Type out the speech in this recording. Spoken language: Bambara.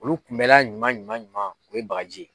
Olu kunbɛla ɲuman ɲuman ɲuman o ye bagaji ye